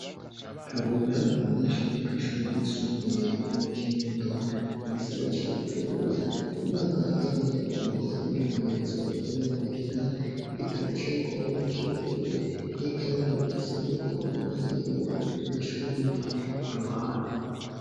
Kabura n'umunyeshuri wo kw'ishuri ryisumbuye ryo mu Kinindo mu gisagara ca bujumbura mu mwaka wa kane bamuhaye umwimenyerezo akorera muhira, igitabo ciwe akoreramwo kirugaye n'ikaramu asanzwe akoreramwo, hariho ibikoresho bindi ku ruhande.